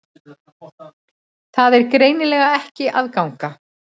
Það er greinilega ekki að ganga